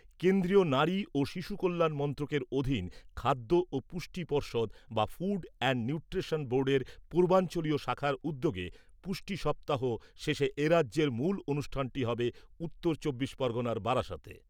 কেন্দ্রীয় নারী ও শিশু কল্যাণ মন্ত্রকের অধীন খাদ্য ও পুষ্টি পর্ষদ বা ফুড অ্যান্ড নিউট্রিশন বোর্ডের পূর্বাঞ্চলীয় শাখার উদ্যোগে পুষ্টি সপ্তাহ শেষে এরাজ্যের মূল অনুষ্ঠানটি হবে উত্তর চব্বিশ পরগণার বারাসাতে।